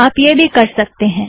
आप वह भी कर सकतें हैं